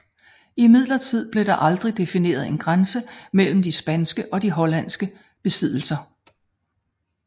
Imidlertid blev der aldrig defineret en grænse mellem de spanske og de hollandske besiddelser